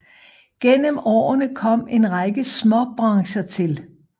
Gennem årene kom en række småbrancher til